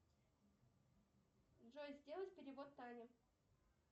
джой сделать перевод тане